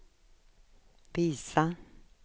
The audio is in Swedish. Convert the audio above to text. visa